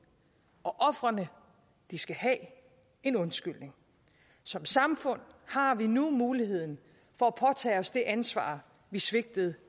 og ofrene skal have en undskyldning som samfund har vi nu muligheden for at påtage os det ansvar vi svigtede